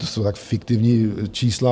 To jsou tak fiktivní čísla!